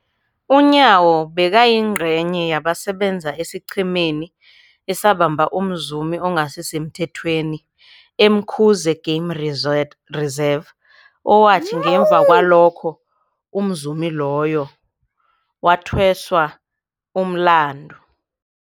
UNyawo bekayingcenye yabasebenza esiqhemeni esabamba umzumi ongasisemthethweni e-Umkhuze Game Reserve, owathi ngemva kwalokho umzumi loyo wathweswa umlandu.